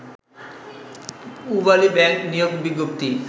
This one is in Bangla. পূবালী ব্যাংক নিয়োগ বিজ্ঞপ্তি